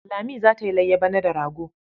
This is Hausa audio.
Lami za ta yi layya bana da rago.